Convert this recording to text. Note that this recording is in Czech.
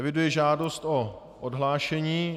Eviduji žádost o odhlášení.